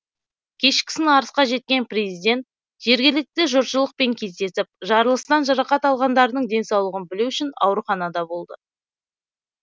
кешкісін арысқа жеткен президент жергілікті жұртшылықпен кездесіп жарылыстан жарақат алғандардың денсаулығын білу үшін ауруханада болды